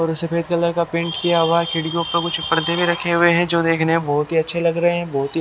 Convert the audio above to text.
और सफेद कलर का पेंट किया हुआ है खिड़कियो पे कुछ पर्दे भी रखे हुए है जो देखने मे बहोत ही अच्छे लग रहे है बहोत ही--